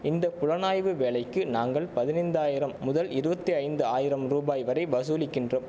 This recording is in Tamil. இந்த புலனாய்வு வேலைக்கு நாங்கள் பதினைந்து ஆயிரம் முதல் இருவத்தி ஐந்து ஆயிரம் ரூபாய் வரை பசூலிக்கின்றோம்